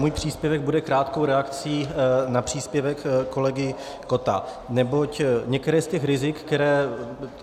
Můj příspěvek bude krátkou reakcí na příspěvek kolegy Kotta, neboť některá z těch rizik, která...